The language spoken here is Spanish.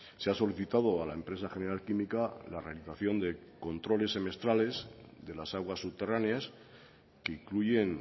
se ha solicitado a la empresa general química la realización de controles semestrales de las aguas subterráneas que incluyen